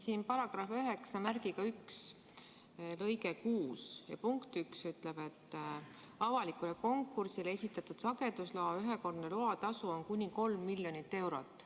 Siin § 91 lõike 6 punkt 1 ütleb, et avalikule konkursile esitatud sagedusloa ühekordne loatasu on kuni 3 miljonit eurot.